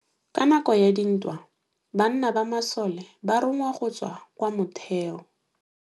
Ka nakô ya dintwa banna ba masole ba rongwa go tswa kwa mothêô.